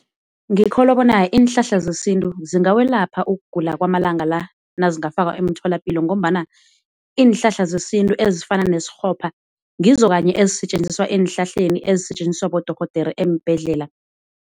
Ngikholwa bona iinhlahla zesintu zingawelapha ukugula kwamalanga la nazingafakwa emtholapilo ngombana iinhlahla zesintu ezifana nesikghopha ngizo kanye ezisetjenziswa enhlahleni ezisetjenziswa bodorhodere eembhedlela.